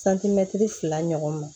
fila ɲɔgɔn ma